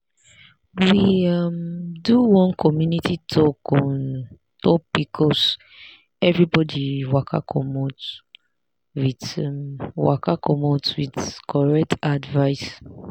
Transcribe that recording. we um do one community talk on top pcoseverybody waka commot with waka commot with correct advice.